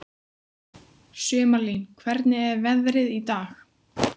Sumarlín, hvernig er veðrið í dag?